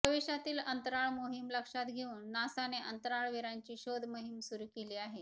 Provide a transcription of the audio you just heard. भविष्यातील अंतराळ मोहीम लक्षात घेऊन नासाने अंतराळवीरांची शोधमोहीम सुरू केली आहे